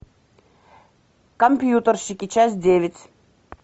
компьютерщики часть девять